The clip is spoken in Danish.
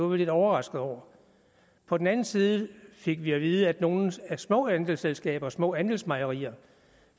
vi lidt overrasket over på den anden side fik vi at vide at nogle af de små andelsselskaber små andelsmejerier